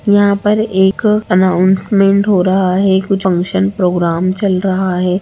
यहाँ पर एक अनाउंसमेंट हो रहा है कुछ फंक्शन प्रोग्राम चल रहा है।